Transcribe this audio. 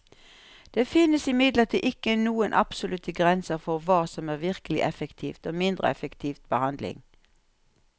Det finnes imidlertid ikke noen absolutte grenser for hva som er virkelig effektiv og mindre effektiv behandling.